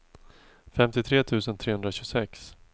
femtiotre tusen trehundratjugosex